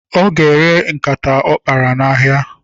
Ọ ga-ere nkata ọ kpara n'ahịa.